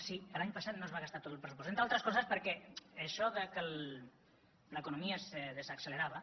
sí l’any passat no es va gastar tot el pressupost entre altres coses perquè això que l’economia es desaccelerava